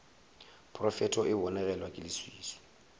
profeto e bonegelwa ke leswiswi